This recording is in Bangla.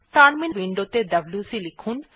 টার্মিনাল উইন্ডো ত়ে ডব্লিউসি লিখুন